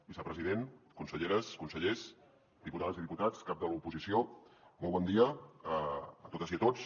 vicepresident conselleres consellers diputades i diputats cap de l’oposició molt bon dia a totes i a tots